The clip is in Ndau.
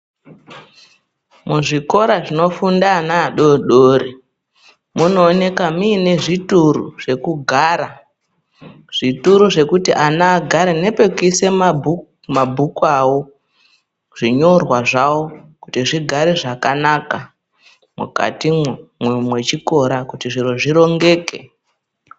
Muzvikora zvinofunda ana adodori kunooneka muine zvituru zvekugara zvituru zvekuti ana agare. Nepekuisa mabhuku avo zvinyorwa zvavo kuti zvigare zvakanaka mukatimwo mwechikora kuti zviro zvirongeke.